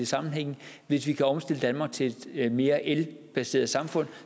sammenhænge hvis vi kan omstille danmark til et mere elbaseret samfund